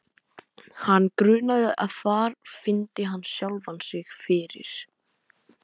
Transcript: Hann grunaði að þar fyndi hann sjálfan sig fyrir.